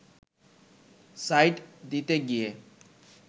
side দিতে গিয়ে